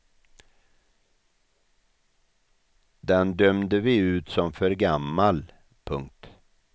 Den dömde vi ut som för gammal. punkt